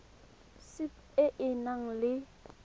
sap e e nang le